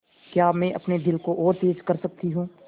क्या मैं अपने दिल को और तेज़ कर सकती हूँ